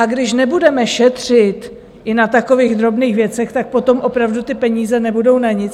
A když nebudeme šetřit i na takových drobných věcech, tak potom opravdu ty peníze nebudou na nic.